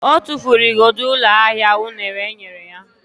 Ọ tụfuru igodo ụlọ ahịa unere enyere ya.